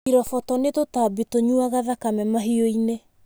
Iroboto nĩ tũtambi tũnyuaga thakame mahiũ-inĩ.